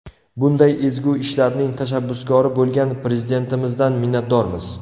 Bunday ezgu ishlarning tashabbuskori bo‘lgan Prezidentimizdan minnatdormiz.